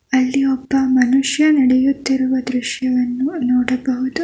ಅಲ್ಲಿ ಒಬ್ಬ ಮನುಷ್ಯ ನಡೆಯುತ್ತಿರುವ ದೃಶ್ಯವನ್ನು ನೋಡಬಹುದು.